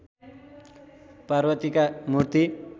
पार्वतीका मूर्ति